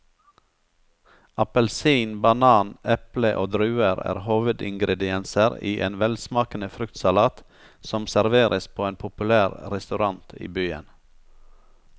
Appelsin, banan, eple og druer er hovedingredienser i en velsmakende fruktsalat som serveres på en populær restaurant i byen.